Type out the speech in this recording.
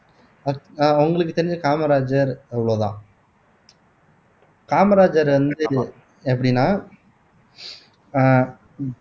உங்களுக்கு தெரிஞ்ச காமராஜர் அவ்வளவுதான் காமராஜர் வந்து எப்படின்னா அஹ்